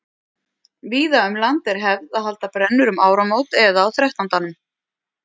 Víða um land er hefð að halda brennur um áramót eða á þrettándanum.